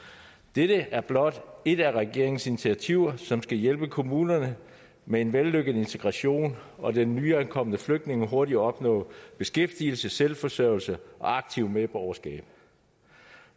dette er blot et af regeringens initiativer som skal hjælpe kommunerne med en vellykket integration og den nyankomne flygtning hurtigere at opnå beskæftigelse selvforsørgelse og aktivt medborgerskab